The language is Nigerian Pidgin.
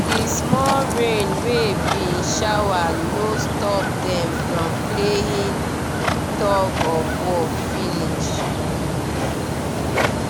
di small rain wey bin shower no stop dem from playing tug of war finish